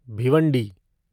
Bhiwandi